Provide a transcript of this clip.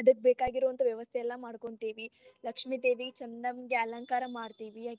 ಅದಕ್ಕ ಬೇಕಾಗಿರೋವಂತ ವ್ಯವಸ್ಥೆ ಎಲ್ಲಾ ಮಾಡ್ಕೊಂತೇವಿ, ಲಕ್ಷ್ಮೀದೇವಿ ಚಂದಂಗಾ ಅಲಂಕಾರ ಮಾಡ್ತಿವಿ.